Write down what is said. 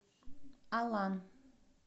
алан